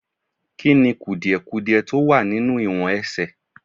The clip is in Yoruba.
Kí ni kùdìdudiẹ tó wà nínú ìwọ̀n ẹsẹ̀?